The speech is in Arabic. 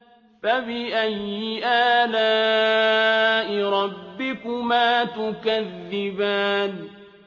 فَبِأَيِّ آلَاءِ رَبِّكُمَا تُكَذِّبَانِ